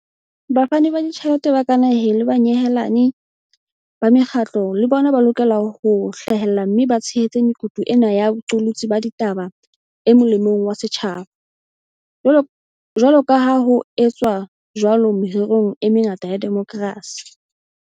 Bafani ba ditjhelete ba ka naheng le banyehelani ba mekgatlo le bona ba lokela ho hlahella mme ba tshehetse mekutu ena ya boqolotsi ba ditaba e mo lemong wa setjhaba, jwaloka ha ho etswa jwalo mererong e mengata ya demokrasi.